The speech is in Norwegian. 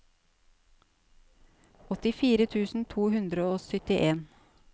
åttifire tusen to hundre og syttien